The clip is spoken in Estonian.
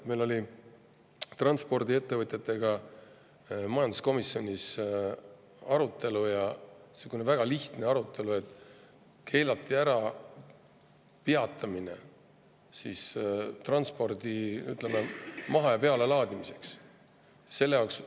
Meil oli transpordiettevõtjatega majanduskomisjonis arutelu, väga lihtne arutelu selle üle, et keelati ära peatumine maha‑ ja pealelaadimiseks.